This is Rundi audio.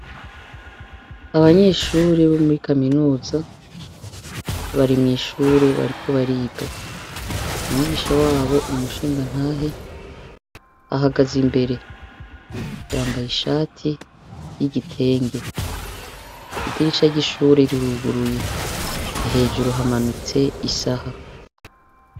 Abanyeshure bo muri kaminuza barimwishure bariko bariga umwigisha wabo numushingantahe ahagaze imbere yambaye ishati yigitenge idirisha ryishure riruguruye hejuru hamanitse isaha